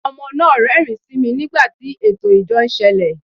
Ọmọ náà rẹ́rìn-ín sí mi nígbà tí ẹtọ ìjọ n sẹle